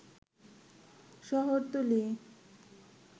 শহরতলী